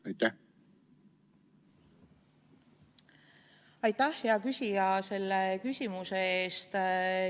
Aitäh, hea küsija, selle küsimuse eest!